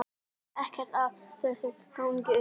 Ekkert af þessu gengur upp.